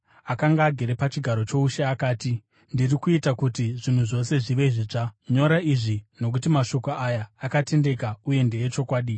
Akanga agere pachigaro choushe akati, “Ndiri kuita kuti zvinhu zvose zvive zvitsva!” Ipapo akati, “Nyora izvi, nokuti mashoko aya akatendeka uye ndeechokwadi.”